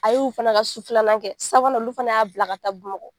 A y'olu fana ka su filanan kɛ sabanan olu fana y'a bila ka taa Bumakɔ.